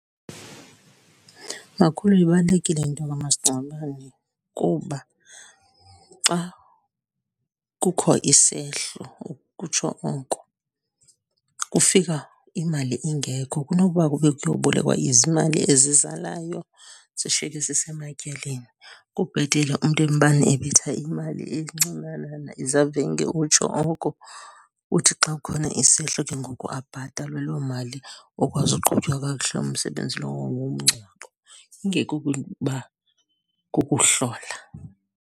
Makhulu, ibalulekile into kamasingcwabane kuba xa kukho isehlo ukutsho oko, kufika imali ingekho. Kunokuba kube kuyobolekwa izimali ezizalayo sishiyeke sisematyaleni, kubhetele umntu embane ebetha imali encinanana, izavenge ukutsho oko. Kuthi xa kukhona isehlo kengoku abhatalwe loo mali, ukwazi uqhutywa kakuhle umsebenzi lowo womngcwabo, ingekukuba kukuhlola.